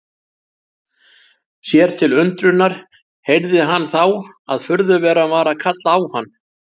Sér til undrunar heyrði hann þá að furðuveran var að kalla á hann.